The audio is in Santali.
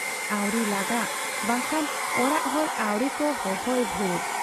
ᱟᱹᱣᱨᱤ ᱞᱟᱸᱜᱟᱜ ᱵᱟᱝᱠᱷᱟᱱ ᱚᱲᱟᱜ ᱦᱚᱲ ᱟᱹᱣᱨᱤ ᱠᱚ ᱦᱚᱦᱚᱭ ᱵᱷᱩᱨ ᱾